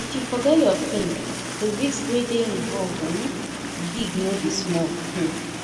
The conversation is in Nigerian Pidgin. if you forget your pin the risk wey dey involved um big no be small um